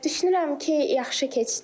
Düşünürəm ki, yaxşı keçdi.